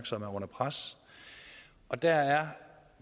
som er under pres og der er